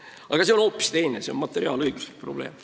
Aga see on hoopis teine, materiaalõiguslik probleem.